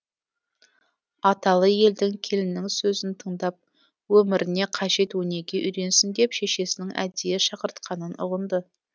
аталы елдің келінінің сөзін тыңдап өміріне қажет өнеге үйренсін деп шешесінің әдейі шақыртқанын ұғынды